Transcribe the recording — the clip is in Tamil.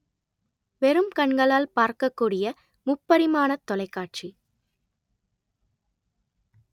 வெறும் கண்களால் பார்க்கக்கூடிய முப்பரிமாணத் தொலைக்காட்சி